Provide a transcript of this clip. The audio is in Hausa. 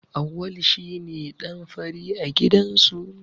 Auwalu shi ne ɗan fari a gidansu.